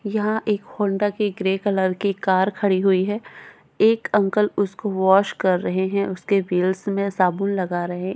यहाँ एक होंडा की एक ग्रे कलर की कार खड़ी हुई हे एक अंकल उसको वॉश कर रहे है उसके व्हील्स में साबुन लगा रहे है।